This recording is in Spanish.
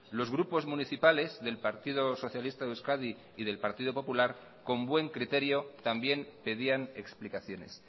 los grupos municipales del partido socialista de euskadi y del partido popular con buen criterio también pedían explicaciones